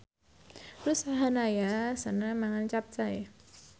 Ruth Sahanaya seneng mangan capcay